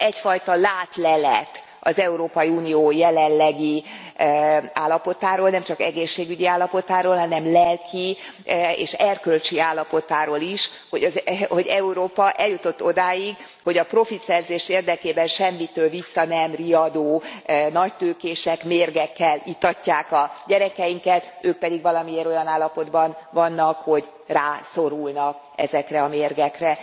Ez egyfajta látlelet az Európai Unió jelenlegi állapotáról, nemcsak egészségügyi állapotáról, hanem lelki és erkölcsi állapotáról is, hogy Európa eljutott odáig, hogy a profitszerzés érdekében semmitől vissza nem riadó nagytőkések mérgekkel itatják a gyerekeinket, ők pedig valamiért olyan állapotban vannak, hogy rászorulnak ezekre a mérgekre.